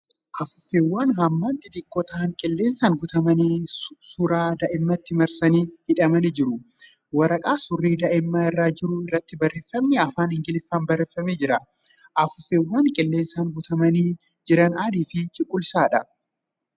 Afuuffeewwan hammaan xixiqqoo ta'an qilleensaan guutamanii suuraa daa'imaatti marsanii hidhamanii jiru. Waraqaan suurri daa'imaa irra jiru irratti barreeffamni afaan Ingiliffaan barreeffamee jira. Afuuffeewwan qilleensaan guutamaniii jiran adii fi cuquliisadha .